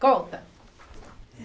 Conta.